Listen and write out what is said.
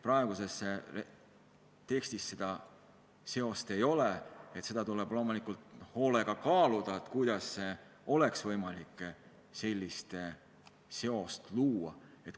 Praeguses tekstis seda seost ei ole ja seda tuleb loomulikult hoolega kaaluda, kuidas oleks võimalik sellist seost luua.